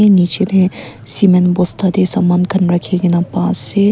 niji de cement bosta de saman kan raki kina pa ase.